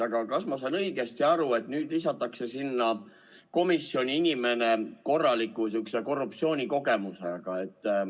Aga kas ma saan õigesti aru, et nüüd lisatakse sinna komisjoni inimene korraliku sihukese korruptsioonikogemusega?